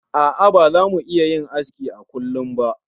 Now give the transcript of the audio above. A'a baza mu iya yin aski a kullum ba